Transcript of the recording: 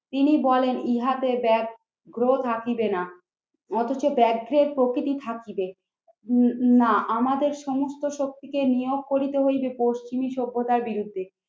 তিনি বলেন ইহাতে ব্যাগ গ্রহ থাকিবে না। অথচ ব্যাগগ্রহের প্রকৃতি থাকিবে না আমাদের সমস্ত শক্তিকে নিয়োগ করিতে হইবে পশ্চিমী সভ্যতার বিরুদ্ধে।